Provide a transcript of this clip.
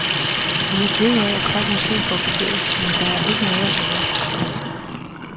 Vi er kede af, at folk måske går forgæves, men der er ikke noget at gøre.